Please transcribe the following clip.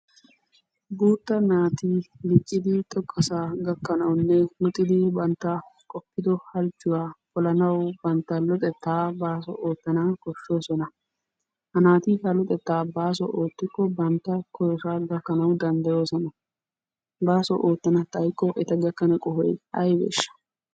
Guuttaa naati diccidi xoqqasaa gakkanawunne luxiddi bantta qoppiddo halchchuwa polanawu bantta luxettaa baaso ootanawu koshshoosona. Ha naati bantta luxetta baaso oottikko bantta koyossaa gakkanawu danddayoosona. Baaso oottana xaykko eta gakkana qohoy aybeesha?